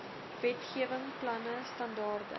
wetgewing planne standaarde